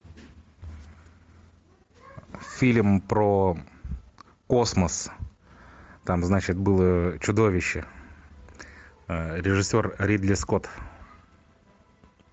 фильм про космос там значит было чудовище режиссер ридли скотт